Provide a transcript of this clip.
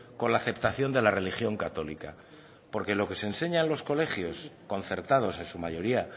con la aceptación de la religión católica porque lo que se enseña en los colegios concertados en su mayoría